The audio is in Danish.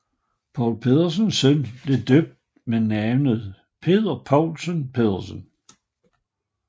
Poul Pedersens søn blev døbt med navnet Peder Poulsen Pedersen